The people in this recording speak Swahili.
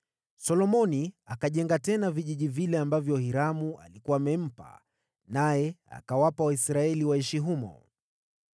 Solomoni akajenga tena vijiji vile ambavyo Hiramu alikuwa amempa, naye akawapa Waisraeli waishi humo.